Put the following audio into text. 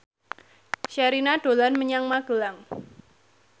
Sherina dolan menyang Magelang